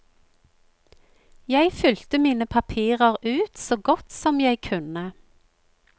Jeg fylte mine papirer ut så godt som jeg kunne.